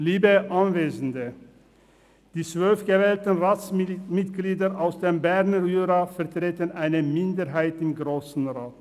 Liebe Anwesende, die 12 gewählten Ratsmitglieder aus dem Berner Jura vertreten eine Minderheit im Grossen Rat.